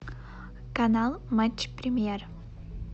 канал матч премьер